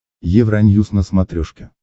евроньюс на смотрешке